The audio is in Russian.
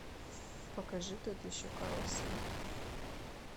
покажи тот еще карлсон